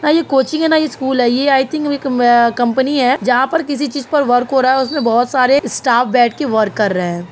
ना ये कोचिंग है ना ये स्कूल है। ये आईथिंक अ कंपनी है। जहाँ पर किसी चीज पर वर्क हो रहा है और उसमे बहुत सारे स्टाफ बैठ के वर्क कर रहे हैं।